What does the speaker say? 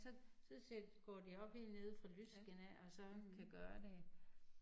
Så så sæt går de op helt nede fra lysken af og så kan gøre det